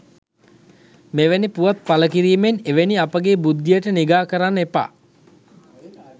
මෙවැනි පුවත් පලකිරීමෙන් එවැනි අපගේ බුද්ධියට නිගා කරන්න එපා